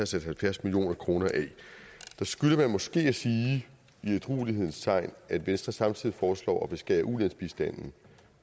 sat halvfjerds million kroner af der skylder man måske i ædruelighedens tegn at at venstre samtidig foreslår at beskære ulandsbistanden